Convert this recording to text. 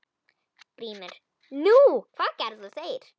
GRÍMUR: Nú, hvað gerðu þeir?